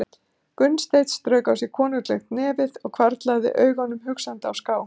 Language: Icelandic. Gunnsteinn strauk á sér konunglegt nefið og hvarflaði augunum hugsandi á ská.